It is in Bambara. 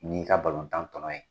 N'i ka balotan tɔnɔ ye.